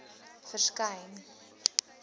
verskyn